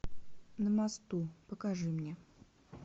на мосту покажи мне